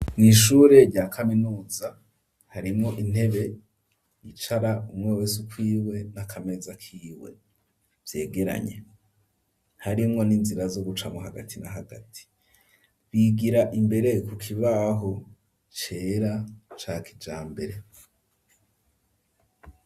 Mu ishure rya kaminuza harimwo intebe icara umwe wese ukwiwe n'akameza kiwe vyegeranye harimwo n'inzira zo gucamwo hagati na hagati bigira imbere kukibaho cera cakijambere.